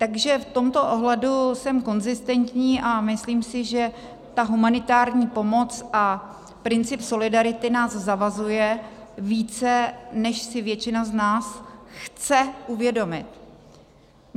Takže v tomto ohledu jsem konzistentní a myslím si, že ta humanitární pomoc a princip solidarity nás zavazuje více, než si většina z nás chce uvědomit.